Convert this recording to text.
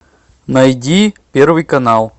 найди первый канал